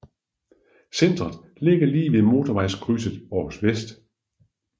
Centret ligger lige ved Motorvejskryds Århus Vest